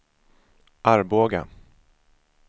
Arboga